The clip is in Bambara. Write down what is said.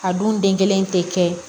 A dun den kelen tɛ kɛ